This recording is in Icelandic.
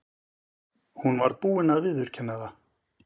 Hún var búin að viðurkenna það.